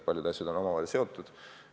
Paljud asjad on omavahel seotud.